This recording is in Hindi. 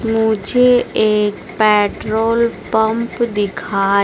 मुझे एक पेट्रोल पंप दिखाई--